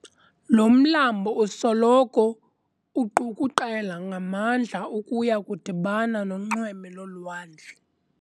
Lo mlambo usoloko uqukuqela ngamandla ukuya kudibana nonxweme lolwandle.